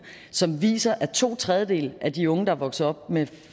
som viser at to tredjedele af de unge der er vokset op med